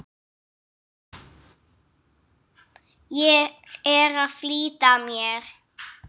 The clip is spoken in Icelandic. Ég er að flýta mér!